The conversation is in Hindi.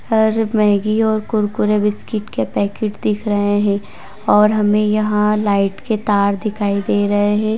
और मैगी और कुरकुरे बिस्कुट के पैकेट दिख रहें हैं और हमें यहाँ लाइट के तार दिखाई दे रहे हैं।